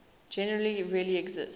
genres really exist